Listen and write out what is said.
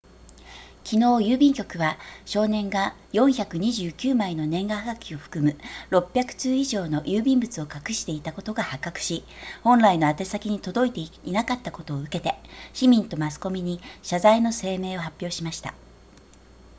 昨日郵便局は少年が429枚の年賀はがきを含む600通以上の郵便物を隠していたことが発覚し本来の宛先に届いていなかったことを受けて市民とマスコミに謝罪の声明を発表しました